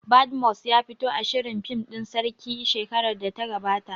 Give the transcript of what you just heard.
Badmus ya fito a shirin fim ɗin sarki shekarar da ta gabata